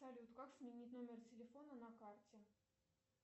салют как сменить номер телефона на карте